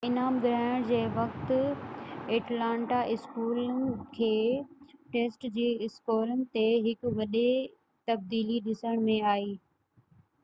انعام ورهائڻ جي وقت ايٽلانٽا اسڪولن کي ٽيسٽ جي اسڪورن تي هڪ وڏي تبديلي ڏسڻ ۾ آئي